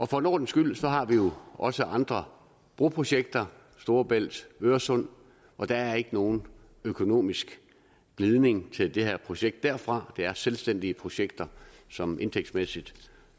for en ordens skyld har vi også andre broprojekter storebælt og øresund og der er ikke nogen økonomisk glidning til det her projekt derfra det er selvstændige projekter som indtægtsmæssigt og